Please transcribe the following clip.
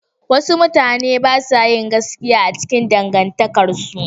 Wasu mutane ba su yin gaskiya a cikin dangantakarsu.